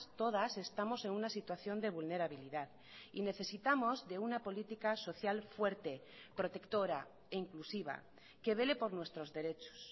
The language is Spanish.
todas estamos en una situación de vulnerabilidad y necesitamos de una política social fuerte protectora e inclusiva que vele por nuestros derechos